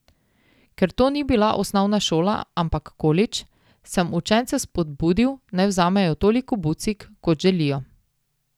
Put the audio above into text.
Ker to ni bila osnovna šola, ampak kolidž, sem učence spodbudil naj vzamejo toliko bucik, kot želijo.